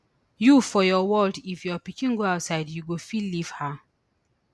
you for your world if your pikin go outside you go fit leave her